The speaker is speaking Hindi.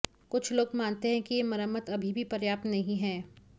कुछ लोग मानते हैं कि ये मरम्मत अभी भी पर्याप्त नहीं हैं